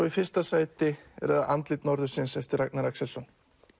í fyrsta sæti er andlit norðursins eftir Ragnar Axelsson